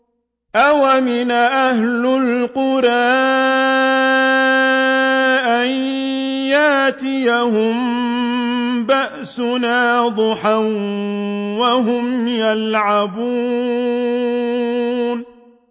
أَوَأَمِنَ أَهْلُ الْقُرَىٰ أَن يَأْتِيَهُم بَأْسُنَا ضُحًى وَهُمْ يَلْعَبُونَ